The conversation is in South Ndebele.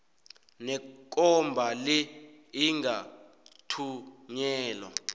nekomba le ingathunyelwa